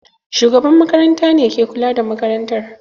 Shugaban makarantar ne ke kula da makarantar.